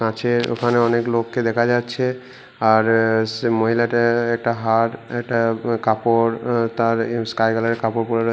আছে ওখানে অনেক লোককে দেখা যাচ্ছে আর অ্যা সে মহিলাটা একটা হার একটা উম কাপড় তার উম স্কাই কালার এর কাপড় পরে--